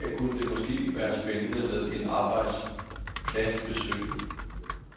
Her kunne det måske også være spændende med et arbejdspladsbesøg.